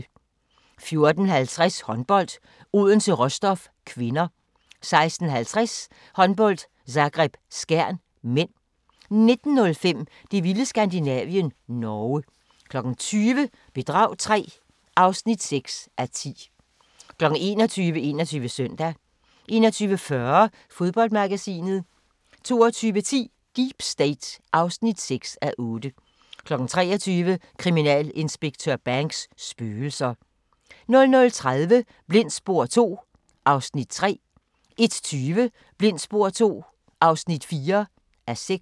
14:50: Håndbold: Odense-Rostov (k) 16:50: Håndbold: Zagreb-Skjern (m) 19:05: Det vilde Skandinavien - Norge 20:00: Bedrag III (6:10) 21:00: 21 Søndag 21:40: Fodboldmagasinet 22:10: Deep State (6:8) 23:00: Kriminalinspektør Banks: Spøgelser 00:30: Blindt spor II (3:6) 01:20: Blindt spor II (4:6)